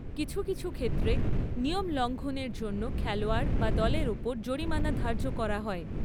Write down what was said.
কিছু কিছু ক্ষেত্রে নিয়ম লঙ্ঘনের জন্য খেলোয়াড় বা দলের ওপর জরিমানা ধার্য করা হয়।